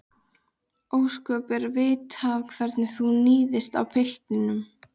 Ósköp er að vita hvernig þú níðist á piltinum.